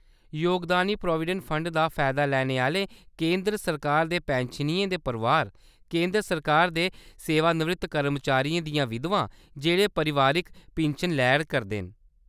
योगदानी provident fund दा फायदा लैने आह्‌‌‌ले केंदर सरकार दे पिन्शनियें दे परोआर : केंदर सरकार दे सेवानिवृत्त कर्मचारियें दियां विधवां जेह्‌‌ड़े पारिवारिक पिन्शन लै करदे न।